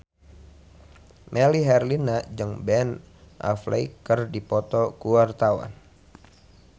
Melly Herlina jeung Ben Affleck keur dipoto ku wartawan